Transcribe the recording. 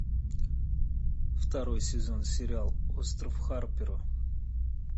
второй сезон сериал остров харпера